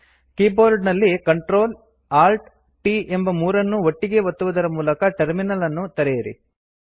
keyboard ನಲ್ಲಿ Ctrl Alt t ಎಂಬ ಮೂರನ್ನೂ ಒಟ್ಟಿಗೇ ಒತ್ತುವುದರ ಮೂಲಕ ಟರ್ಮಿನಲ್ ಅನ್ನು ತೆರೆಯಿರಿ